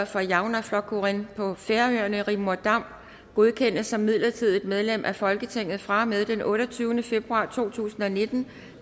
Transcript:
for javnaðarflokkurin på færøerne rigmor dam godkendes som midlertidigt medlem af folketinget fra og med den otteogtyvende februar to tusind og nitten